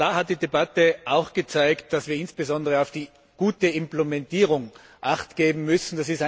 Klar hat die Debatte auch gezeigt, dass wir insbesondere auf die gute Implementierung Acht geben müssen.